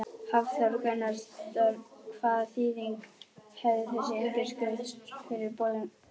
Hafþór Gunnarsson: Hvaða þýðingu hefur þessi undirskrift fyrir Bolungarvík?